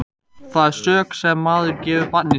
Það er sök sem maður gefur barni sínu.